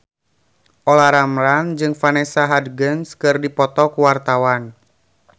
Olla Ramlan jeung Vanessa Hudgens keur dipoto ku wartawan